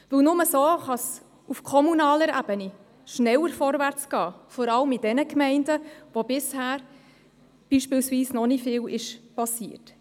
Nur so kann es auf kommunaler Ebene schneller vorwärts gehen, vor allem in jenen Gemeinden, in denen bisher noch nicht viel geschehen ist.